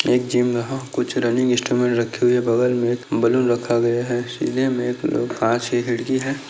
ये एक जीम है कुछ रनिंग इंस्ट्रूमेंट रखी हुई है बगल मे बलून रखा गया हैं सीने में काँच की खिड़की है।